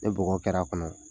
Ni bɔgɔ kɛr'a kɔnɔ